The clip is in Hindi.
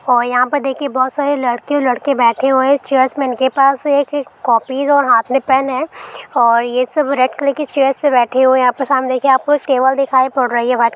और यहाँ पर देखिए बहोत सारे लड़के और लड़के बैठे हुए है चेयर्स मैन के पास एक कौपीस और हाथ में पेन है और ये सब रेड कलर की चेयर्स पे बैठे हुए है यहाँ पे सामने देखिए आपको एक टेबल दिखाई पड़ रही है वाइट --